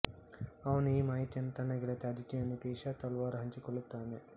ಅವನು ಈ ಮಾಹಿತಿಯನ್ನು ತನ್ನ ಗೆಳತಿ ಅದಿತಿಯೊಂದಿಗೆ ಇಶಾ ತಲ್ವಾರ್ ಹಂಚಿಕೊಳ್ಳುತ್ತಾನೆ